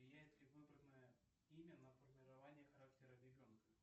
влияет ли выбранное имя на формирование характера ребенка